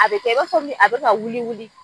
A bɛ kɛ i b'a fɔ nin a bɛ ka wuli wuli.